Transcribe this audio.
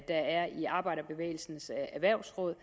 er i arbejderbevægelsens erhvervsråd